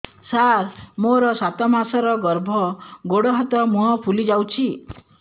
ସାର ମୋର ସାତ ମାସର ଗର୍ଭ ଗୋଡ଼ ହାତ ମୁହଁ ଫୁଲି ଯାଉଛି